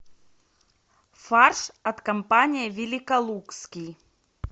фарш от компании великолукский